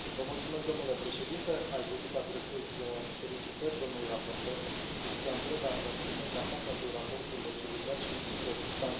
Domnule președinte, aș dori să adresez felicitări domnului raportor, Cristian Preda, pentru munca sa, pentru raportul echilibrat și plin de substanță.